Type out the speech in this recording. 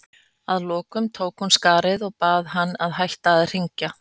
Að lokum tók hún af skarið og bað hann að hætta að hringja.